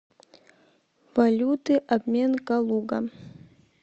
валюты обмен калуга